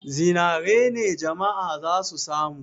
Zinare ne jama'a za su samu.